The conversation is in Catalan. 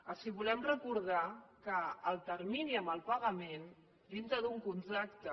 els volem recordar que el termini en el pagament dintre d’un contracte